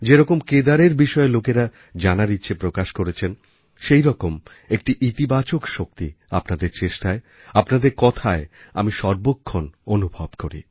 যেরকম কেদারের বিষয়ে লোকেরা জানার ইচ্ছে প্রকাশ করেছেন সেইরকম একটি ইতিবাচক শক্তি আপনাদের চেষ্টায় আপনাদের কথায় আমি সর্বক্ষণ অনুভব করি